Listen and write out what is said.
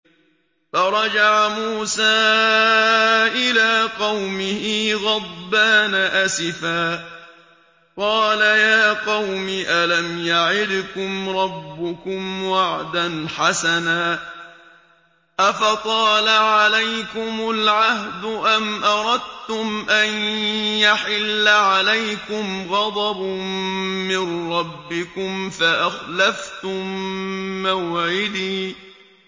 فَرَجَعَ مُوسَىٰ إِلَىٰ قَوْمِهِ غَضْبَانَ أَسِفًا ۚ قَالَ يَا قَوْمِ أَلَمْ يَعِدْكُمْ رَبُّكُمْ وَعْدًا حَسَنًا ۚ أَفَطَالَ عَلَيْكُمُ الْعَهْدُ أَمْ أَرَدتُّمْ أَن يَحِلَّ عَلَيْكُمْ غَضَبٌ مِّن رَّبِّكُمْ فَأَخْلَفْتُم مَّوْعِدِي